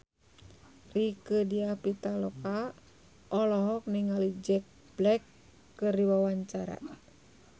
Rieke Diah Pitaloka olohok ningali Jack Black keur diwawancara